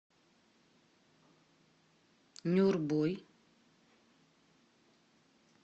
нюрбой